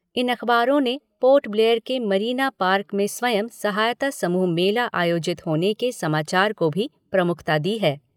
इन अखबारों ने पोर्ट ब्लेयर के मरीना पार्क में स्वयं सहायता समूह मेला आयोजित होने के समाचार को भी प्रमुखता दी है।